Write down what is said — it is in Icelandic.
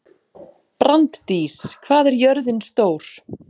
Branddís, hvað er jörðin stór?